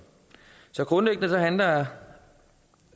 så grundlæggende handler